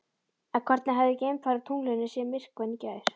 En hvernig hefði geimfari á tunglinu séð myrkvann í gær?